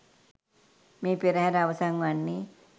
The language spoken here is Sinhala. මේ පෙරහැර අවසන් වන්නේ